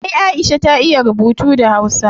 Ay aisha ta iya rubutu da hausa